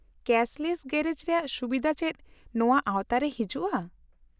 -Cashless garage ᱨᱮᱭᱟᱜ ᱥᱩᱵᱤᱫᱷᱟ ᱪᱮᱫ ᱱᱚᱣᱟ ᱟᱣᱛᱟ ᱨᱮ ᱦᱤᱡᱩᱜᱼᱟ ?